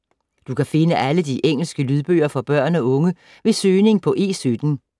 Du kan finde alle de engelske lydbøger for børn og unge ved søgning på E17.